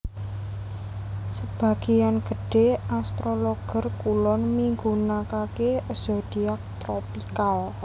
Sebagéan gedhé astrologer kulon migunakaké zodiak tropikal